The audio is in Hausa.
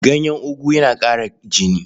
Ganyen ogu yana ƙara jini.